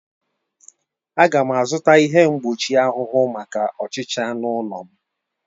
Aga m azụta ihe mgbochi ahụhụ maka ọchịcha n'ụlọ m